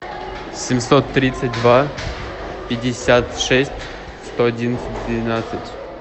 семьсот тридцать два пятьдесят шесть сто одиннадцать двенадцать